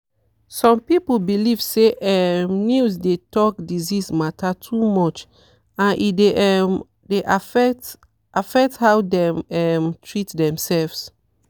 some people belief say um news dey talk disease matter too much and e um dey affect affect how dem um treat demself.